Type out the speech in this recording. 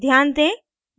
ध्यान दें